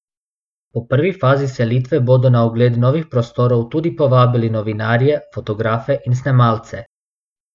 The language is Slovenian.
Po prvi fazi selitve bodo na ogled novih prostorov tudi povabili novinarje, fotografe in snemalce.